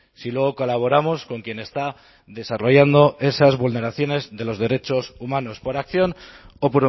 si luego colaboramos con quien está desarrollando esas vulneraciones de los derechos humanos por acción o